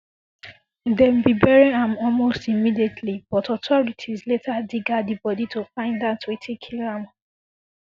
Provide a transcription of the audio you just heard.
dem bin bury am almost immediately but authorities later dig out di body to find out wetin kill am